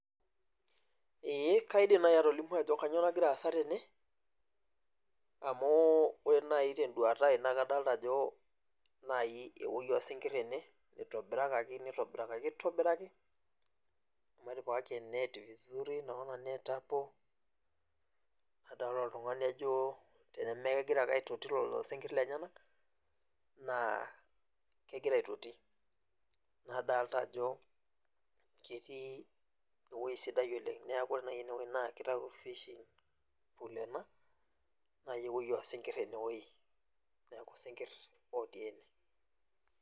Ee kaidim naai atolimu ajo kainyioo nagiwa aasa tene amu ore naai tenduata ai naa kadlata ajo naai ewuei oosinkirr ene itobirakaki nitobirakaki aitobiraki amu etipikaki e net vizuri naona net hapo nadolta oltung'ani ajo tenemekegira ake aitoti lelo sinkirr lenyenak naa kegira aitoti nadalta ajo ketii ewuei sidai oleng' nadalta ajo ore naai ene wuei naa kitayu fishing naai ewuei oosinkirr ene wuei, neeku isinkirr ootii ene.